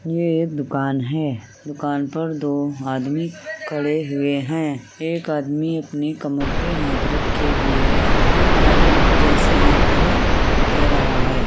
ये एक दुकान है दुकान पर दो आदमी खड़े हुए हैं। एक आदमी अपनी कमर पे हाथ रखे हुए हैं। एक आदमी कुछ ऐसे हाथ करे कह रहा है।